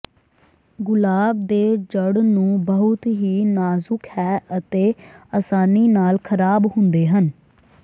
ਗੁਲਾਬ ਦੇ ਜੜ੍ਹ ਨੂੰ ਬਹੁਤ ਹੀ ਨਾਜ਼ੁਕ ਹੈ ਅਤੇ ਆਸਾਨੀ ਨਾਲ ਖਰਾਬ ਹੁੰਦੇ ਹਨ